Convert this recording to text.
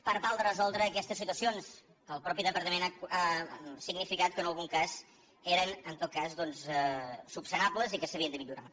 per tal de resoldre aquestes situacions el mateix departament ha significat que en algun cas eren en tot cas doncs resolubles i que s’havien de millorar